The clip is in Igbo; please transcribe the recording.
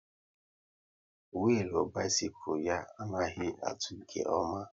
Willu bisikul ya anaghị atụ nke ọma